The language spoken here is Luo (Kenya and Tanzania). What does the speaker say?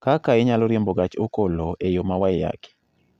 kaka inyalo riembo gach okoloe yo ma waiyaki